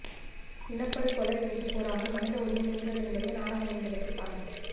இணப்படுகொலை என்று கூறாமல் மனிதஉரிமை மீறல் என்பதே நாடகம் என்பதற்க்கு சான்று